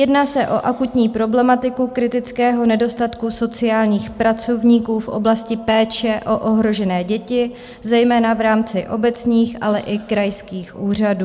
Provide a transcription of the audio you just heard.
Jedná se o akutní problematiku kritického nedostatku sociálních pracovníků v oblasti péče o ohrožené děti, zejména v rámci obecních, ale i krajských úřadů.